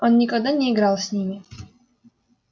он никогда не играл с ними